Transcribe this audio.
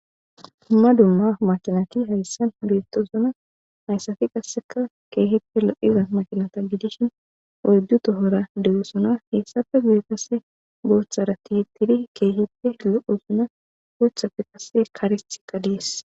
Dumma dumma makinati hayssan beettosuna hayssafi qasseka keehippe lo7iza maqinata gidishin odu tohora dewesona heyssafe gude kasse booththara tiittidi keehipte lo7osuna goothafe qasse karitika dees